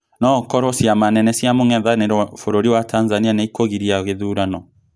No okorwo cĩama nene cia mũng'ethanĩro bũrũri wa Tanzania nĩkũgiria gĩthurano?